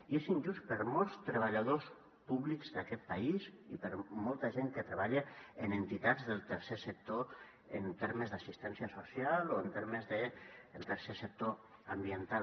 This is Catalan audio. i és injust per a molts treballadors públics d’aquest país i per a molta gent que treballa en entitats del tercer sector en termes d’assistència social o en termes de tercer sector ambiental